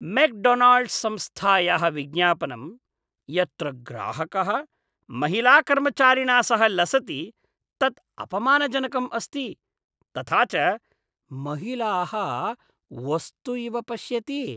McDonald's संस्थायाः विज्ञापनं यत्र ग्राहकः महिलाकर्मचारिणा सह लसति तत् अपमानजनकम् अस्ति, तथा च महिलाः वस्तु इव पश्यति।